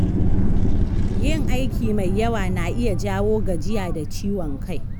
Yin aiki mai yawa na iya jawo gajiya da ciwon kai.